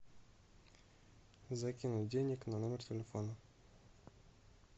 закинуть денег на номер телефона